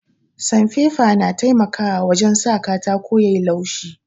Sanfefa na taimakawa wajen sa katako yayi laushi